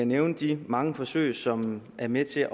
nævne de mange forsøg som er med til